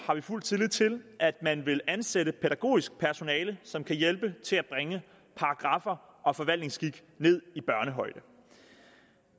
har fuld tillid til at man vil ansætte pædagogisk personale som kan hjælpe til at bringe paragraffer og forvaltningsskik ned i børnehøjde